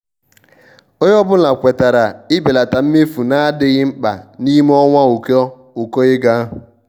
ònye ọ́bụ̀la kwètàrà ibèlata mmefu na-adịghị mkpa n'ime ọnwa ụkọ ụkọ ego.